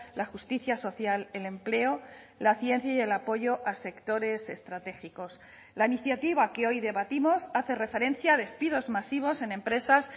la justicia social el empleo la ciencia y el apoyo a sectores estratégicos la iniciativa que hoy debatimos hace referencia a despidos masivos en empresas